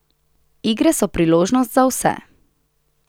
Igre so priložnost za vse.